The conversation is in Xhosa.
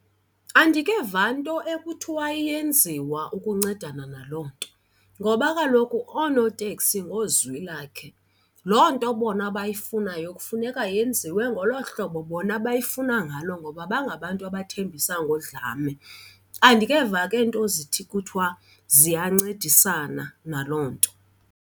Andikeva nto ekuthiwa iyenziwa ukuncedana naloo nto ngoba kaloku oonoteksi ngozwilakhe. Loo nto bona abayifunayo kufuneka yenziwe ngolo hlobo bona abayifuna ngalo ngoba bangabantu abathembisa ngodlame. Andikeva ke nto zithi kuthiwa ziyancedisana naloo nto.